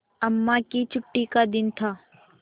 अम्मा की छुट्टी का दिन था